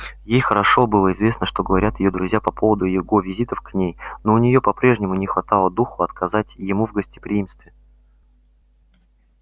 ей хорошо было известно что говорят её друзья по поводу его визитов к ней но у неё по-прежнему не хватало духу отказать ему в гостеприимстве